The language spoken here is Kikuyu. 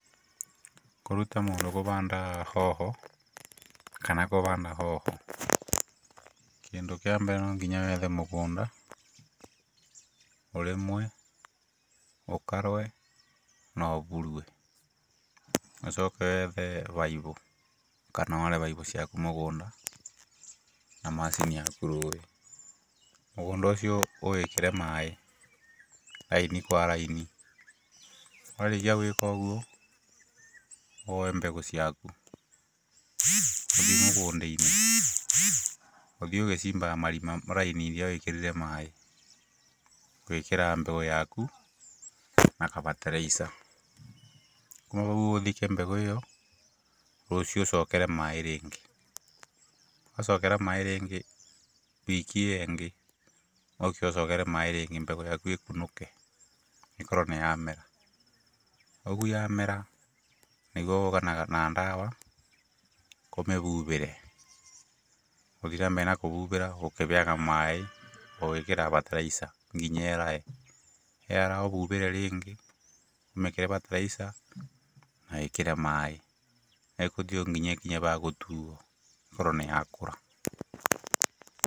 Kũruta mũndũ kũbanda hoho kana kũbanda hoho kĩndũ kĩa mbere no nginya wethe mũgũnda, ũrĩmwe, ũkarwe na ũburue. Ũcoke wethe baibu kana ware baibu ciaku mũgũnda na macini yaku rũĩ, mũgũnda ũcio ũwĩkĩre maaĩ raini kwa raini. Wa rĩkia gwĩka ũguo, woe mbegũ ciaku ũthiĩ mũgũnda-inĩ, ũthiĩ ũcimbaga marima raini iria wĩkĩrire maaĩ, ũgekĩra mbegũ yaku na kabataraica. Kuma hau ũthike mbegũ ĩyo, rũciũ ũcokere maaĩ rĩngĩ, wacokera maaĩ rĩngĩ wiki ĩyo ĩngĩ ũke ũcokere maaĩ rĩngĩ mbegũ yaku ĩkunũke ĩkorwo nĩyamera. Ũguo yamera nĩguo ũgũka na ndawa ũmĩbubĩre, ũthi na mbere na kũbubĩra, o ũkĩheaga maaĩ, ũgĩkĩraga bataraica nginya yarae, yaraba ũbubĩre rĩngĩ ũmĩkĩre bataraica na wĩkĩre maaĩ, ĩgũthiĩ ũguo nginya ĩkinye bagũtuo ĩkorwo nĩ ya kũra.